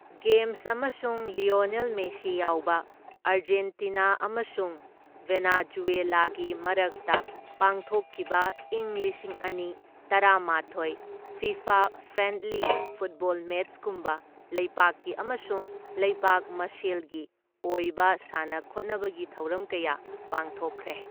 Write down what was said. Games ꯑꯃꯁꯨꯡ Lionel Messi ꯌꯥꯎꯕ, Argentina ꯑꯃꯁꯨꯡ ꯚꯦꯅꯖꯨꯌꯦꯂꯥꯒꯤ ꯃꯔꯛꯇ ꯄꯥꯡꯊꯣꯛꯈꯤꯕ ꯢꯪ ꯂꯤꯁꯤꯡ ꯑꯅꯤ ꯇꯔꯥꯃꯥꯊꯣꯢ ꯐꯤꯐꯥ ꯐ꯭ꯔꯦꯟꯗꯂꯤ ꯐꯨꯠꯕꯣꯜ ꯃꯦꯆꯀꯨꯝꯕ ꯂꯩꯕꯥꯛꯀꯤ ꯑꯃꯁꯨꯡ ꯂꯩꯕꯥꯛ ꯃꯁꯦꯜꯒꯤ ꯑꯣꯏꯕ ꯁꯥꯟꯅ ꯈꯣꯠꯅꯕꯒꯤ ꯊꯧꯔꯝ ꯀꯌꯥ ꯄꯥꯡꯊꯣꯛꯈ꯭ꯔꯦ꯫